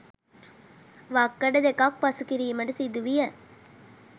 වක්කඩ දෙකක් පසු කිරීමට සිදු විය.